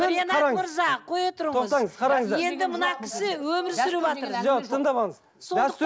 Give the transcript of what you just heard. ринат мырза қоя тұрыңыз тоқтаңыз қараңыздар енді мына кісі өмір сүріватыр жоқ тыңдап алыңыз дәстүр